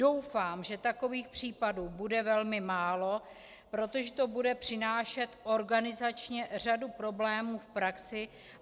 Doufám, že takových případů bude velmi málo, protože to bude přinášet organizačně řadu problémů v praxi.